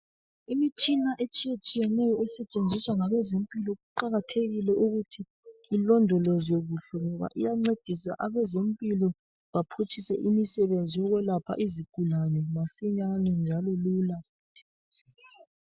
Imitshina etshiya tshiyeneyo esetshenziswa ngabezempilo kuqakathekile ukuthi ilodolozwe kuhle ngoba iyancedisa abezempilo baphutshise imisebenzi yokwelapha izigulane masinyane njalo lula